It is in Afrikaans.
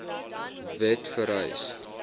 wet vereis